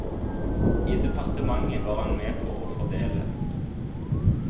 I departementet var han med på å fordele.